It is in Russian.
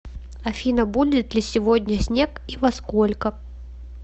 афина будет ли сегодня снег и во сколько